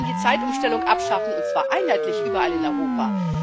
wir wollen die Zeitumstellung abschaffen, und zwar einheitlich überall in Europa.